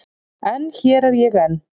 En hér er ég enn.